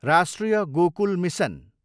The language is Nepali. राष्ट्रिय गोकुल मिसन